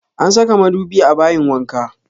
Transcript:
An saka madubi a bayin wanka